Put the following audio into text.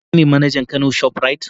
Shin kai ne manajan Kano shoprite?